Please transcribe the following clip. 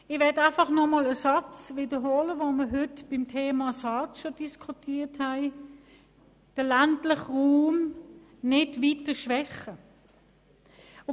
Ich möchte einfach einen Satz wiederholen, den wir heute beim Thema SARZ diskutiert haben: «den ländlichen Raum nicht weiter schwächen».